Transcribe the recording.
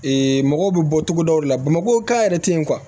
mɔgɔw bɛ bɔ togodaw de la bamakɔ ka yɛrɛ tɛ ye